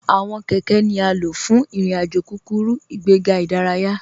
Awọn kẹkẹ̀ ni a ló fún irin-àjò kúkúrú, ìgbẹ̀gà idáràyà.